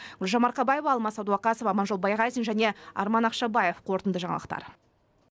гүлжан марқабаева алмас сәдуақасов аманжол байғазин және арман ақшабаев қорытынды жаңалықтар